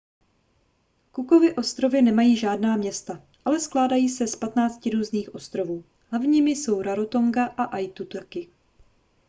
cookovy ostrovy nemají žádná města ale skládají se z 15 různých ostrovů hlavními jsou rarotonga a aitutaki